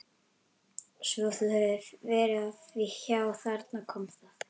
Svo þú hefur verið að því já, þarna kom það.